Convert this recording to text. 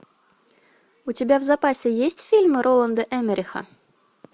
у тебя в запасе есть фильмы роланда эммериха